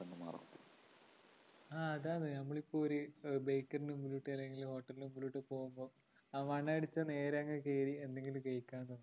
ആ അതാണ് നമ്മളിപ്പോ ഒരു bakery ൻ്റെ മുമ്പിലോട്ട് അല്ലെങ്കിൽ hotel ൻ്റെ മുമ്പിലോട്ട് പോകുമ്പോ ആ മണമടിച്ചാ നേരെ അങ്ങ് കേറി എന്തെങ്കിലും കഴിക്കാൻ തോന്നും